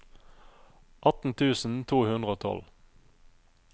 atten tusen to hundre og tolv